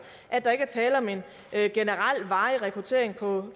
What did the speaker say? at der ikke er tale om en generel varig rekruttering